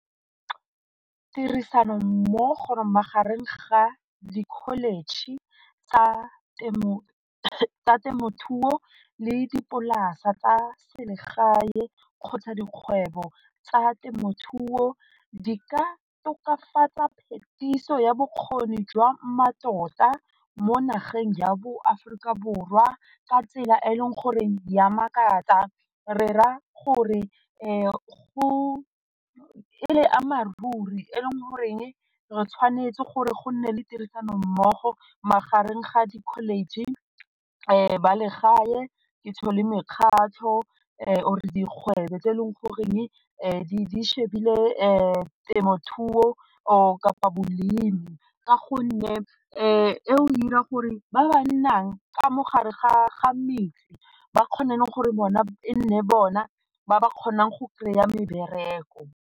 Tirisano magareng ga di-college tsa temothuo le dipolase tsa selegae kgotsa dikgwebo tsa temothuo di ka tokafatsa phetiso ya bokgoni jwa mmatota mo nageng ja bo Aforika Borwa ka tsela e e leng gore ya makatsa, re ra gore go e re ama ruri e leng goreng re tshwanetse gore go nne le tirisano mmogo magareng ga di-college, ba legae, mekgatlho or dikgwebo tse e leng goreng di shebile temothuo or kapa bolemi ka gonne e o dira gore ba ba nnang ka mo gare ga metse ba kgone gore bona e nne bona ba ba kgonang go kry-a mebereko.